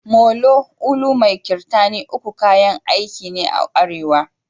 Molo, ulu mai kirtani uku kayan aiki ne a arewa ne.